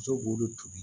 Muso b'o de tobi